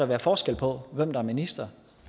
være forskel på hvem der er minister